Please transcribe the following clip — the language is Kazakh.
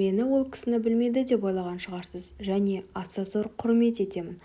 мені ол кісіні білмейді деп ойлаған шығарсыз және аса зор құрмет етемін